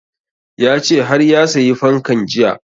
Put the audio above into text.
Ya ce har ya sayi fankan jiya